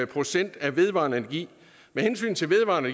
procent af vedvarende energi med hensyn til vedvarende